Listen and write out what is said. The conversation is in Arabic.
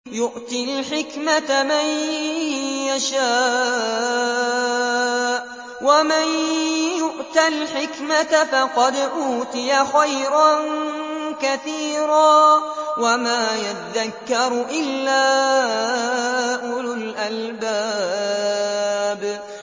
يُؤْتِي الْحِكْمَةَ مَن يَشَاءُ ۚ وَمَن يُؤْتَ الْحِكْمَةَ فَقَدْ أُوتِيَ خَيْرًا كَثِيرًا ۗ وَمَا يَذَّكَّرُ إِلَّا أُولُو الْأَلْبَابِ